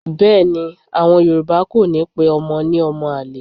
Bẹ́ẹ̀ ni, à̀wọn Yorùbá kò ní pe ọmọ ní ọmọ àlè.